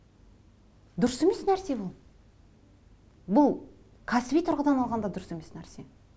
дұрыс емес нәрсе бұл бұл кәсіби тұрғыдан алғанда дұрыс емес нәрсе